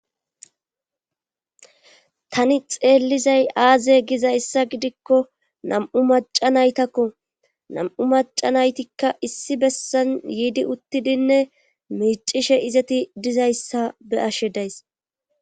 tani xeellizay aaze gizayssa gidikko nam7u maca naytakko nam7u maca naytikka issi bessan yiidi uttidinne miicishe izeti dizayssa be ashshe days